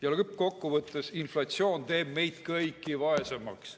Ja lõppkokkuvõttes inflatsioon teeb ju meid kõiki vaesemaks.